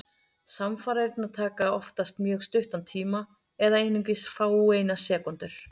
Samfarirnar taka oftast mjög stuttan tíma, eða einungis fáeinar sekúndur.